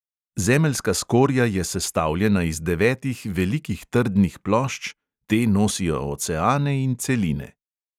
Zemeljska skorja je sestavljena iz devetih velikih trdnih plošč, te nosijo oceane in celine.